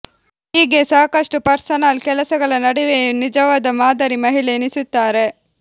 ಹೀಗೆ ಸಾಕಷ್ಟು ಪರ್ಸನಲ್ ಕೆಲಸಗಳ ನಡುವೆಯೂ ನಿಜವಾದ ಮಾದರಿ ಮಹಿಳೆ ಎನಿಸುತ್ತಾರೆ